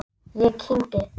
Ég kyngi.